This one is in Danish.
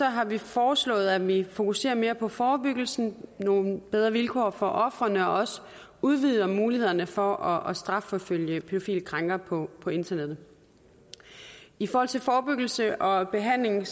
har vi foreslået at vi fokuserer mere på forebyggelsen nogle bedre vilkår for ofrene og også udvider mulighederne for at strafforfølge pædofile krænkere på på internettet i forhold til forebyggelse og behandling